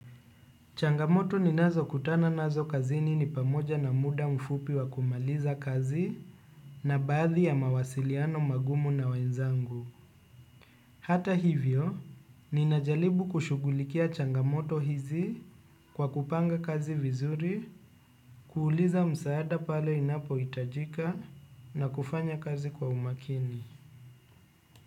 Changamoto ni nazo kutana nazo kazini ni pamoja na muda mfupi wa kumaliza kazi na baadhi ya mawasiliano magumu na wenzangu. Hata hivyo, ni najaribu kushughulikia changamoto hizi kwa kupanga kazi vizuri, kuuliza msaada pale inapohitajika na kufanya kazi kwa umakini.